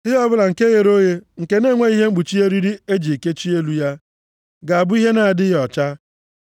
Ihe ọbụla nke ghere oghe, nke na-enweghị ihe mkpuchi eriri e ji kechie elu ya, ga-abụ ihe na-adịghị ọcha.